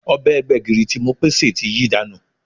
Ọbẹ̀ gbẹ̀gìrì tí Mopé sè ti yí dànù